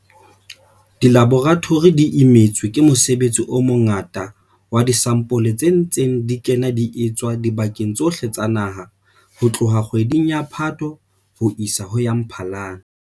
Dilaboratori di imetswe ke mosebetsi o mongata wa disampole tse ntseng di kena di etswa dibakeng tsohle tsa naha ho tloha kgweding ya Phato ho isa ho ya Mphalane.